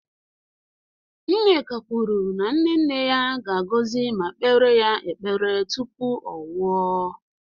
Nneka kwuru na nne nne ya ga-agọzi ma kpeere ya ekpere tupu ọ nwụọ